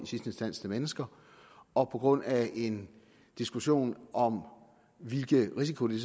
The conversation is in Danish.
sidste instans til mennesker og på grund af en diskussion om hvilken risiko det